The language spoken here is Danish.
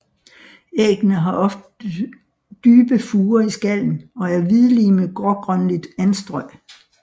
Æggene har ofte dybe furer i skallen og er hvidlige med grågrønligt anstrøg